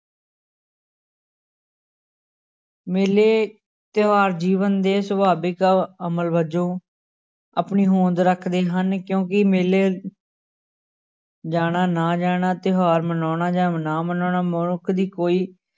ਮੇਲੇ ਤਿਉਹਾਰ ਜੀਵਨ ਦੇ ਸਵਾਦਿਕ ਅਮਲ ਵਜੋਂ ਆਪਣੀ ਹੋਂਦ ਰੱਖਦੇ ਹਨ ਕਿਉੁਂਕਿ ਮੇਲੇ ਜਾਣਾ ਨਾ ਜਾਣਾ, ਤਿਉਹਾਰ ਮਨਾਉਣਾ ਜਾਂ ਨਾ ਮਨਾਉਣਾ ਮਨੁੱਖ ਦੀ ਕੋਈ